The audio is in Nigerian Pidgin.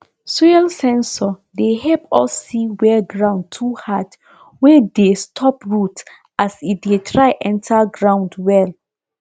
soil sensor dey help us see where ground too hard wey dey stop root as e dey try enter ground well